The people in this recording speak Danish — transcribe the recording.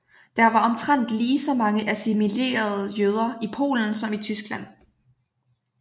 Der var omtrent ligeså mange assimilerede jøder i Polen som i Tyskland